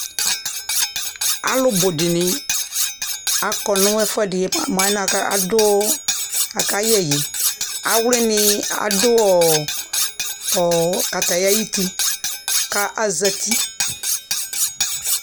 alʋʋ bʋʋdini akɔɔ nʋ ʒƒʋʒdi mʋ mʋʒlʒnʒ adu akayʒyi, awlini adʋɔ kataya ayiiti ka azati